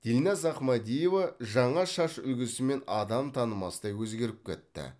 дильназ ахмадиева жаңа шаш үлгісімен адам танымастай өзгеріп кетті